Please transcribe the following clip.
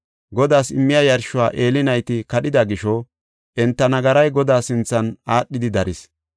Godaas immiya yarshuwa Eeli nayti kadhida gisho, enta nagaray Godaa sinthan aadhidi daris.